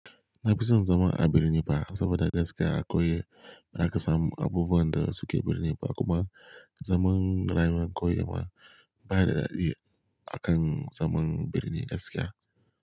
Na fi son zama a birni fa saboda gaskiya a kauye za ka samu abubuwan da suke birni ba kuma zaman rayuwa kauye ma baya da daɗi akan zaman birni gaskiya.